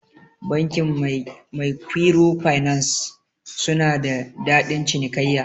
Bankin maikwiro finas suna da dadin cinikaiya.